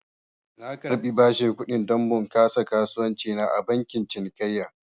Na karbi bashin kudi don bunƙasa kasuwanci na a bankin cinikayya